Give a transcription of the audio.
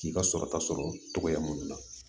K'i ka sɔrɔta sɔrɔ togoya minnu na